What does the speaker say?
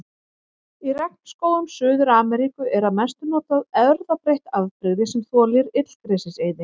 Í regnskógum Suður-Ameríku er að mestu notað erfðabreytt afbrigði sem þolir illgresiseyði.